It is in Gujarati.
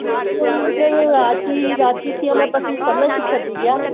રાંચી રાંચી થી અમે પછી સમાંર્શીખર ગયા